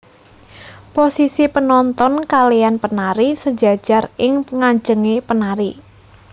Posisi penonoton kalean penari sejajar ing nganjenge penari